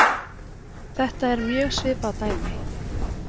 Þetta er mjög svipað dæmi.